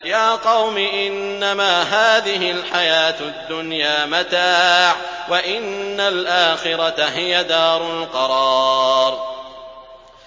يَا قَوْمِ إِنَّمَا هَٰذِهِ الْحَيَاةُ الدُّنْيَا مَتَاعٌ وَإِنَّ الْآخِرَةَ هِيَ دَارُ الْقَرَارِ